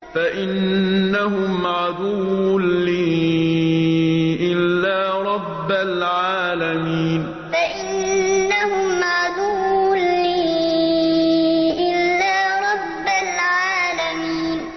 فَإِنَّهُمْ عَدُوٌّ لِّي إِلَّا رَبَّ الْعَالَمِينَ فَإِنَّهُمْ عَدُوٌّ لِّي إِلَّا رَبَّ الْعَالَمِينَ